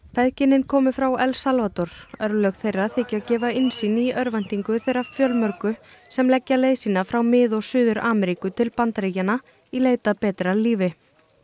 feðginin komu frá El Salvador örlög þeirra þykja gefa innsýn í örvæntingu þeirra fjölmörgu sem leggja leið sína frá Mið og Suður Ameríku til Bandaríkjanna í leit að betra lífi